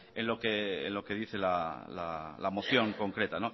en lo que dice la moción concreta